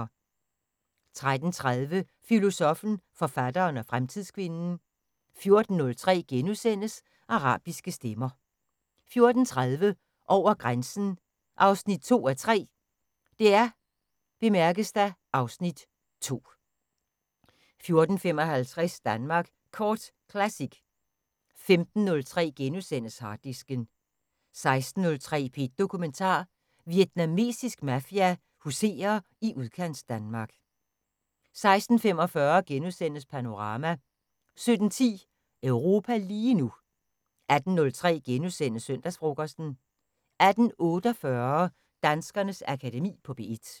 13:30: Filosoffen, forfatteren og fremtidskvinden 14:03: Arabiske stemmer * 14:30: Over grænsen 2:3 (Afs. 2) 14:55: Danmark Kort Classic 15:03: Harddisken * 16:03: P1 Dokumentar: Vietnamesisk mafia huserer i udkantsdanmark 16:45: Panorama * 17:10: Europa lige nu 18:03: Søndagsfrokosten * 18:48: Danskernes Akademi på P1